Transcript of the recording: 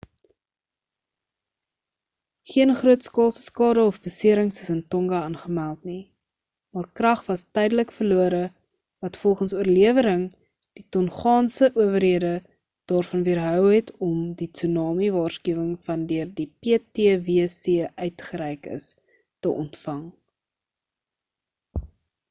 geen grootskaalse skade of beserings is in tonga aangemeld nie maar krag was tydelik verlore wat volgens oorlewering die tongaanse owerhede daarvan weerhou het om die tsunami waarskuwing wat deur die ptwc uitgereik is te ontvang